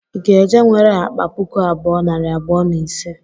Ị ga-eje nwere akpa puku abụọ, nari abụọ na ise?.